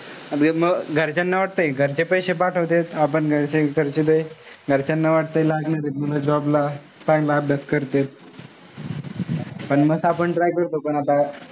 म घरच्यांना वाटतय घरचे पैशे पाठवतायत. आपण पैशे खर्चितोय. घरच्यांना वाटतंय लागलेच ए मुलं job ला. चांगला अभ्यास करतायत. पण म असं try करतो पण आता,